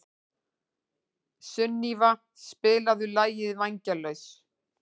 Sunníva, spilaðu lagið „Vængjalaus“.